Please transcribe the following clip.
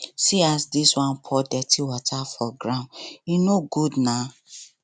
see as dis one pour dirty water for road e no good na